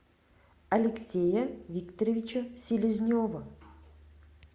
алексея викторовича селезнева